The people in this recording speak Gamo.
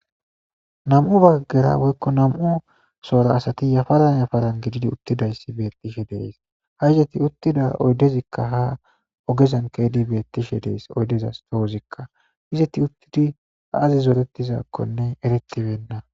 Nam7u baggera woykko nam7u soora asati yafaran yafaran gididi uttidayssi betishe dees ha izeti uttida oydezikka ha ogezan keedi bettishe dees oydezas toozikka izeti uttidi aazi zoretizaakkonne eretibenna.